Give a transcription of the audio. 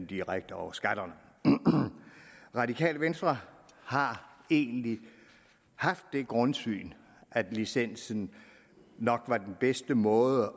direkte over skatterne radikale venstre har egentlig haft det grundsyn at licensen nok var den bedste måde at